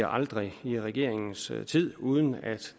aldrig i regeringens tid uden at